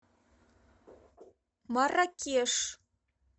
марракеш